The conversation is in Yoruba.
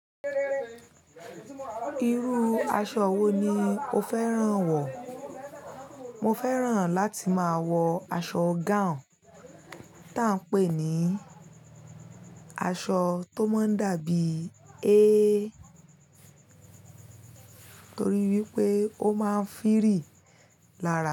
Irú aṣọ wo ni o fẹ́ràn wọ̀? Mo fẹ́ràn láti máa wọ aṣọ gown tan n pè ní aṣọ tó máa ń dàbí ẹ, torí wípé ó máa ń fìrì lára.